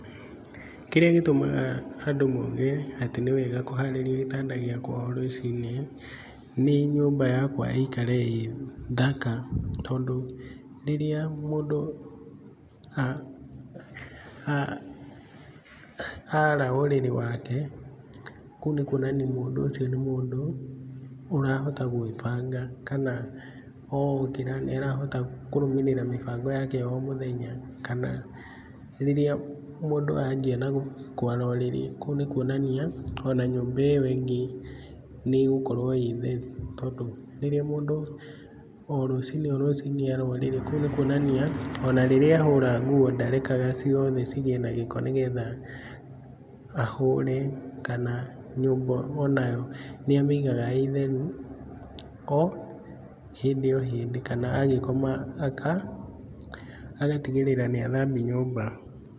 Kĩrĩa gĩtũmaga andũ mauge atĩ nĩ wega kũharĩria gĩtanda gĩakwa o rũciinĩ nĩ nyũmba yakwa ĩikare ĩthaka tondũ rĩrĩa mũndũ a a ara ũrĩrĩ wake kũu nĩkuonania mũndũ ũcio nĩ mũndũ ũrahota gwĩbanga. Kana okĩra nĩ arahota kũrũmĩrĩra mĩbango yake ya o mũthenya kana rĩrĩa mũndũ anjia na kwara ũrĩrĩ kũu nĩ kuonania ona nyũmba ĩyo ĩngĩ nĩ ĩgũkorwo ĩ theru. Tondũ rĩrĩa mũndũ, o rũci-inĩ o rũci-inĩ ara ũrĩrĩ kũu nĩ kuonania ona rĩrĩa ahũra nguo ndarekaga ciothe cigĩe na gĩko nĩ getha, ahũre. Kana nyũmba onayo nĩ amĩigaga ĩtheru o hĩndĩ kana agĩkoma agatigĩrĩra nĩ athambia nyũmba.